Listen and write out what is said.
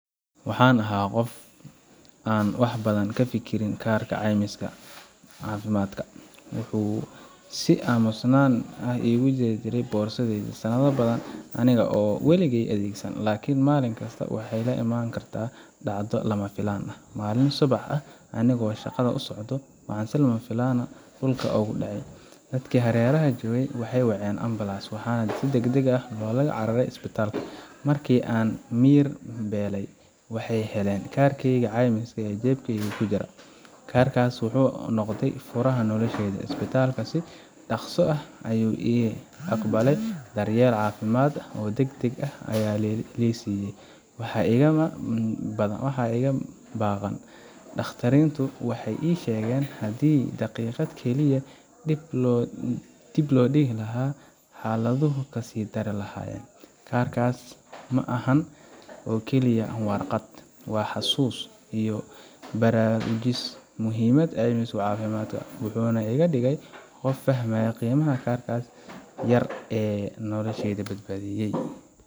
Waxaan ahaa qof aan wax badan ka fikirin kaarka caymiska caafimaadka. Wuxuu si aamusnaan ah igu jiray boorsadayda sanado badan, aniga oo aan waligay adeegsan. Laakiin maalin kasta waxay la imaan kartaa dhacdo lama filaan ah. Maalin subax ah, aniga oo shaqada u socdo, waxaan si lama filaan ah dhulka ugu dhacay. Dadkii hareeraha joogay waxay waceen ambalaas, waxaana deg deg loola cararay isbitaalka. Markii aan miyir beelay, waxay heleen kaarkeygii caymiska ee jeebkayga ku jiray. Kaarkaas yar wuxuu noqday furaha noloshayda. Isbitaalka si dhakhso ah ayuu ii aqbalay, daryeel caafimaad oo deg deg ah ayaa la i siiyay, waxba igama baaqan. Dhakhaatiinrtu waxay ii sheegeen haddii daqiiqad keliya dib loo dhigi lahaa, xaaladdu way kasii dari lahayen. Kaarkaas hadda ma ahan oo keliya waraaq, waa xasuus igu baraarujisay muhiimadda caymiska caafimaadka wuxuuna iga dhigay qof fahmay qiimaha kaarkaas yar ee nolosha badbaadiyay.